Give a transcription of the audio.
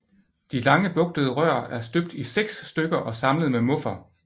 De lange bugtede rør er støbt i seks stykker og samlet med muffer